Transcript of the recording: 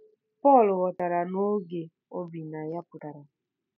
Pọl ghọtara na oge o bi na ya pụtara.